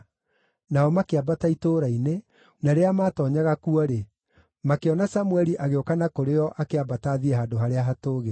Nao makĩambata itũũra-inĩ, na rĩrĩa maatoonyaga kuo-rĩ, makĩona Samũeli agĩũka na kũrĩ o akĩambata athiĩ handũ harĩa hatũũgĩru.